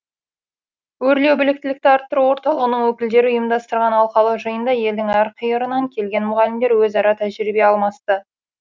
өрлеу біліктілікті арттыру орталығының өкілдері ұйымдастырған алқалы жиында елдің әр қиырынан келген мұғалімдер өзара тәжірибе алмасты